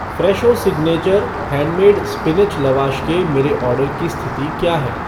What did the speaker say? Fresho signature handmade spinach lavash के मेरे order की स्थिति क्या है